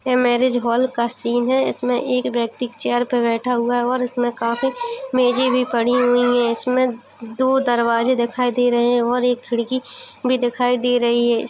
ये marriage hall का scene है इसमें एक व्यक्ति चेयर पे बैठा हुआ है और इसमें काफी मेज़े पड़ी हुई हैं इसमें दो दरवाज़े दिखाई दे रहे हैं और एक खिड़की भी दिखाई दे रही है| इसमें --